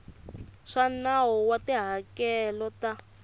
swa nawu wa tihakelo ta